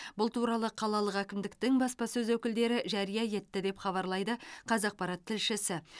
бұл туралы қалалық әкімдіктің баспасөз өкілдері жария етті деп хабарлайды қазақпарат тілшісі